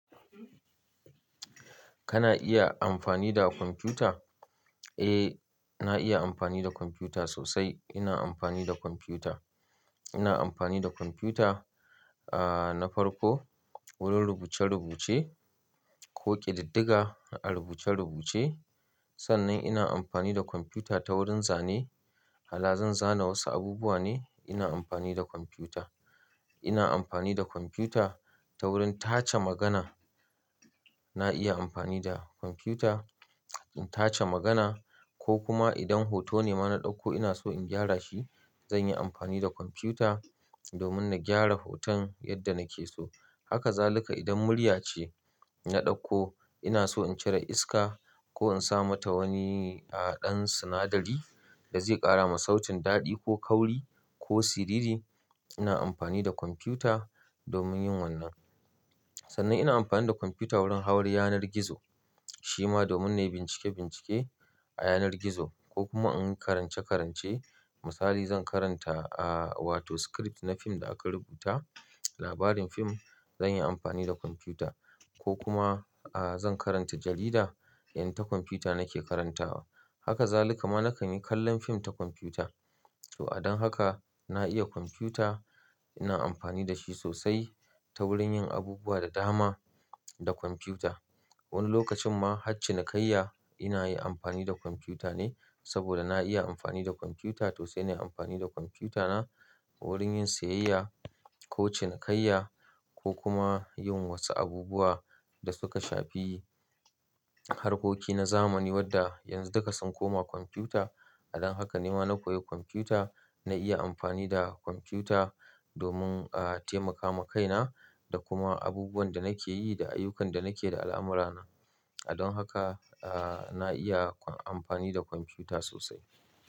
Kana iya amfani da kwamfuta? Eh, na iya amfani da kwamfuta sosai. Ina amfani da kwamfuta. Ina amfani da kwamfuta, ah, na farko wurin rubuce-rubuce ko ƙididdiga a rubuce-rubuce. Sannan ina amfani da kwamfuta ta wurin zane. Hala zan zana wasu abubuwa ne, ina amfani da kwamfuta. Ina amfani da kwamfuta ta wurin tace magana. Na iya amfani da kwamfuta in tace magana ko kuma idan hoto ne ma na ɗauko ina so in gyara shi, zan yi amfani da kwamfuta domin na gyara hoton yadda nake so. Haka zalika idan murya ce na ɗauko ina so in cire iska ko in sa mata wani, ah, ɗan sinadari da zai ƙara ma sautin daɗi ko kauri ko siriri, ina amfani da kwamfuta domin yin wannan. Sannan ina amfani da kwamfuta wurin hawar yanar gizo. Shi ma domin na yi bincike-bincike a yanar gizo ko kuma an karance-karance. Misali zan karanta, ah, wato script na fim da aka rubuta, labarin fim, zan yi amfani da kwamfuta ko kuma, ah, zan karanta jarida, in ta kwamfuta nake karantawa. Haka zalika ma nakan yi kallon fim ta kwamfuta. To a don haka na iya kwamfuta, ina amfani da shi sosai ta wurin yin abubuwa da dama da kwamfuta. Wani lokacin ma har cinikayya ina yi amfani da kwamfuta ne saboda na iya amfani da kwamfuta sosai. Ina amfani da kwamfutana wurin yin siyayya ko cin kaiya ko kuma yin wasu abubuwa da suka shafi harkoki na zamani wadda yanzu duka sun koma kwamfuta. A don haka nema na koyi kwamfuta, na iya amfani da kwamfuta domin, ah, taimaka ma kaina da kuma abubuwan da nake yi da ayyukan da nake da al'amura nah. A don haka, ah, na iya amfani da kwamfuta sosai.